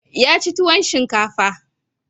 Ya ci tuwon shinkafa.